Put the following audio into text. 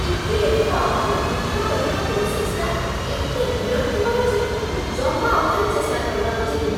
EPFO. Amount withdraw କରିବା ପ୍ରୋସେସ୍‌ଟା ଏତେ ବିରକ୍ତିକର ଯେ ମୁଁ ଜମା ଆଉ ଥରେ ଚେଷ୍ଚା କରିବାକୁ ଯିବିନି ।